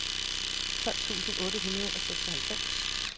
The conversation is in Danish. tolv tusind otte hundrede og seksoghalvfems